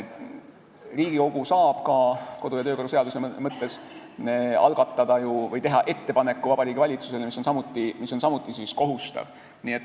Riigikogu saab kodu- ja töökorra seaduse mõttes algatada või teha ettepaneku Vabariigi Valitsusele, mis on samuti kohustav.